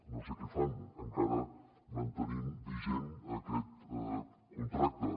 no sé què fan encara mantenint vigent aquest contracte